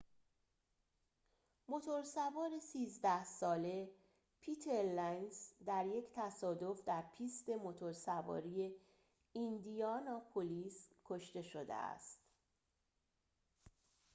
موتور سوار ۱۳ ساله پیتر لنز در یک تصادف در پیست موتورسواری ایندیاناپولیس کشته شده است